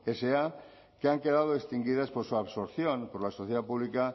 sa que han quedado extinguidas por su absorción por la sociedad pública